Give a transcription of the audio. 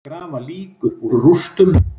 Grafa lík upp úr rústum